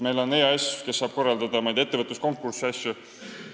Meil on EAS, kes saab korraldada ettevõtluskonkursse jms.